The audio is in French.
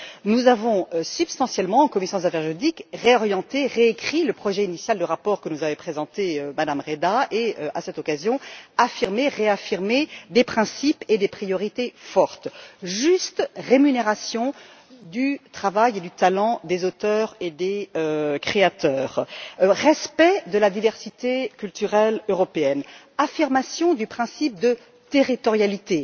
Nous avons substantiellement, en commission des affaires juridiques, réorienté et réécrit le projet initial de rapport que nous avait présenté Mme Reda et, à cette occasion, affirmé et réaffirmé des priorités et des principes forts juste rémunération du travail et du talent des auteurs et des créateurs, respect de la diversité culturelle européenne, affirmation du principe de territorialité,